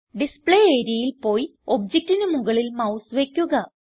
display areaയിൽ പോയി ഒബ്ജക്റ്റിന് മുകളിൽ മൌസ് വയ്ക്കുക